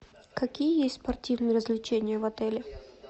какие есть спортивные развлечения в отеле